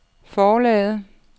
forlaget